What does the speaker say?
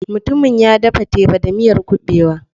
Mutumin ya dafa teba da miyar kuɓewa.